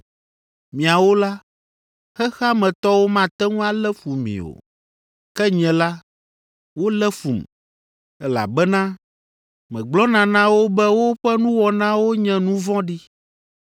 Miawo la, xexea me tɔwo mate ŋu alé fu mi o, ke nye la, wolé fum, elabena megblɔna na wo be woƒe nuwɔnawo nye nu vɔ̃ɖi.